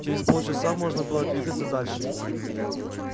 через полчаса можно было двигаться дальше